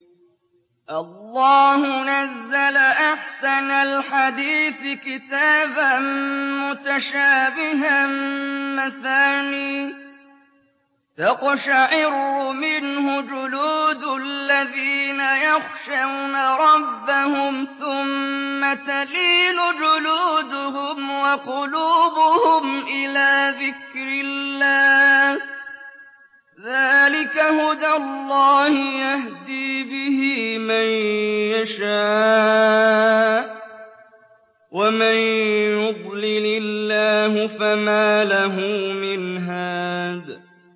اللَّهُ نَزَّلَ أَحْسَنَ الْحَدِيثِ كِتَابًا مُّتَشَابِهًا مَّثَانِيَ تَقْشَعِرُّ مِنْهُ جُلُودُ الَّذِينَ يَخْشَوْنَ رَبَّهُمْ ثُمَّ تَلِينُ جُلُودُهُمْ وَقُلُوبُهُمْ إِلَىٰ ذِكْرِ اللَّهِ ۚ ذَٰلِكَ هُدَى اللَّهِ يَهْدِي بِهِ مَن يَشَاءُ ۚ وَمَن يُضْلِلِ اللَّهُ فَمَا لَهُ مِنْ هَادٍ